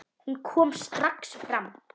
Hún kom strax fram.